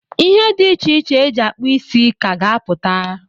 Ihe di iche iche e ji akpụ isi ka a ga-apụta.